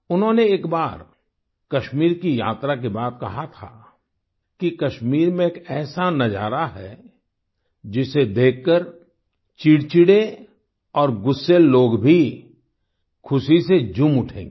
उन्होंने एक बार कश्मीर की यात्रा के बाद कहा था कि कश्मीर में एक ऐसा नजारा है जिसे देखकर चिड़चिड़े और गुस्सैल लोग भी खुशी से झूम उठेंगे